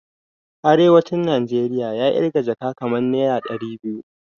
Arewacin Najeriya ya kirga jaka kamar naira dari biyu